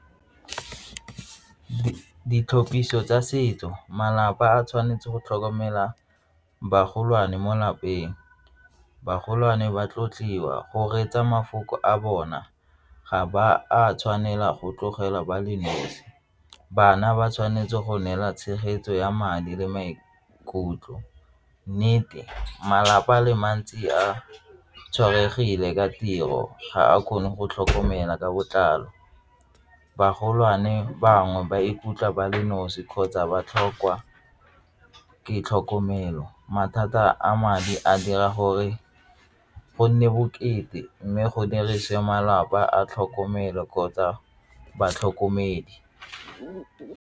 Ditlhophiso tsa setso, malapa a tshwanetse go tlhokomela baagi golwane mo lapeng. Bagolwane ba tlotliwa go reetsa mafoko a bona ga ba a tshwanela go tlogela ba le nosi bana ba tshwanetse go neela tshegetso ya madi le maikutlo, nnete malapa a le mantsi a tshwaetsegile ka tiro ga a kgone go tlhokomela ka botlalo, bagolo tshwane bangwe ba ikutlwa ba le nosi kgotsa ba tlhokwa ke tlhokomelo, mathata a madi a dira gore go nne bokete mme go malapa a tlhokomelo kgotsa batlhokomedi.